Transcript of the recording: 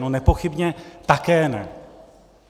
No nepochybně také ne.